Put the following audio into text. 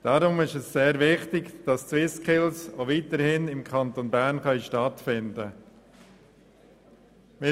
Deshalb ist es sehr wichtig, dass die SwissSkills auch weiterhin im Kanton Bern stattfinden können.